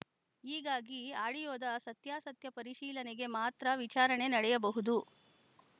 ಹೀಗಾಗಿ ಆಡಿಯೋದ ಸತ್ಯಾಸತ್ಯ ಪರಿಶೀಲನೆಗೆ ಮಾತ್ರ ವಿಚಾರಣೆ ನಡೆಯಬಹುದು